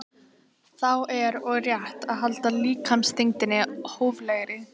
Þá er og rétt að halda líkamsþyngdinni hóflegri.